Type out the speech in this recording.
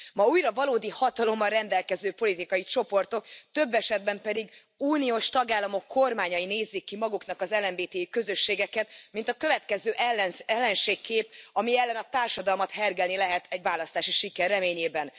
Ma újra valódi hatalommal rendelkező politikai csoportok, több esetben pedig uniós tagállamok kormányai nézik ki maguknak az LMBTI közösségeket, mint a következő ellenségkép, ami ellen a társadalmat hergelni lehet egy választási siker reményében.